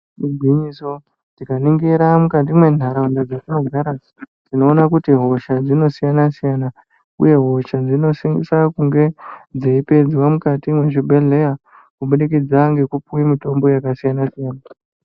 Igwinyiso, tikaningira mukati mentaraunda dzetinogara, tinoona kuti hosha dzinosiyana-siyana uye hosha dzinosisa kunge dzeipedzwa mukati mwezvibhedhleya kubudikidza ngekupuwe mitombo yakasiyana-siyana.